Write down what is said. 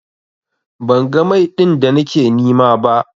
Ban ga Mai din da nake nima ba.